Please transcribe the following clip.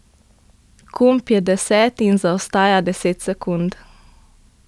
Kump je deseti in zaostaja deset sekund.